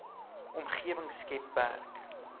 omgewing skep werk